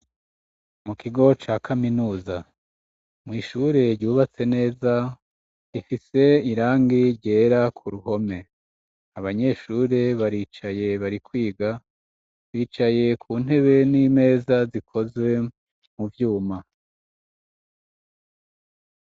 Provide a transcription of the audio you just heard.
Mukigo ca kaminuza mw'ishure ryubatse neza rifise irangi ryera ku ruhome. Abanyeshure baricaye bariko bariga, bicaye ku ntebe n'imeza zikozwe mu vyuma.